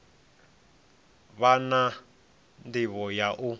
vha na ndivho ya u